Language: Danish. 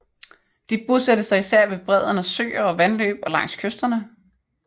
De bosatte sig især ved bredden af søer og vandløb og langs kysterne